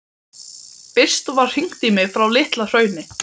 Fyrst var hringt í mig frá Litla-Hrauni.